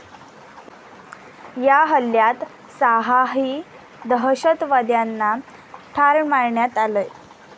या हल्ल्यात सहाही दहशतवाद्यांना ठार मारण्यात आलंय.